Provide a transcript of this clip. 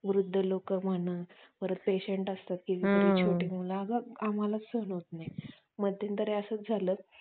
वृद्ध लोक म्हणा Patient Patient असतात त्यांची छोटी मुलं आहेत आम्हाला सहन होत नाही मध्यंतरी असं झालं